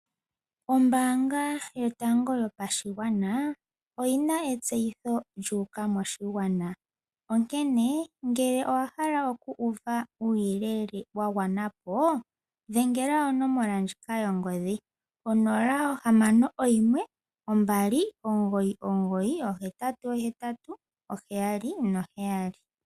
Ombaanga yotango yopashigwana oyina etseyitho lyu uka moshigwana onkene ngele owahala oku uva uuyelele wa gwanapo dhengela onomola ndjoka yongodhi 0612998877